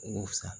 U ka fisa